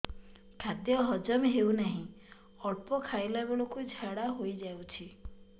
ଖାଦ୍ୟ ହଜମ ହେଉ ନାହିଁ ଅଳ୍ପ ଖାଇଲା ବେଳକୁ ଝାଡ଼ା ହୋଇଯାଉଛି